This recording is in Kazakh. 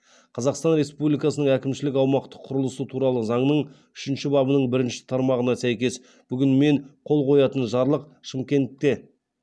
қазақстан республикасының әкімшілік аумақтық құрылысы туралы заңның үшінші бабының бірінші тармағына сәйкес бүгін мен қол қоятын жарлық шымкенте